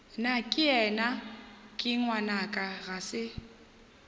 nakeyena ke ngwanaka ga se